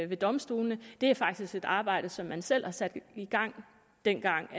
ved domstolene det er faktisk et arbejde som man selv har sat i gang dengang